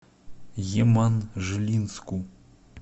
еманжелинску